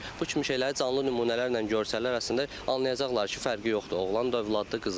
Bu kimi şeyləri canlı nümunələrlə görsələr, əslində anlayacaqlar ki, fərqi yoxdur, oğlan da övladdır, qız da övlad.